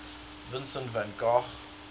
vincent van gogh